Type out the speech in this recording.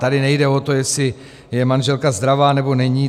Tady nejde o to, jestli je manželka zdravá, nebo není.